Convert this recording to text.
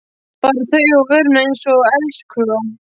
Bar þau upp að vörunum einsog elskhuga.